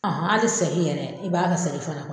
hali segi yɛrɛ i b'a kɛ seri fana